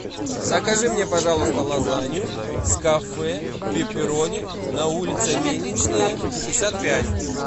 закажи мне пожалуйста лазанью с кафе пепперони на улице мельничная шестьдесят пять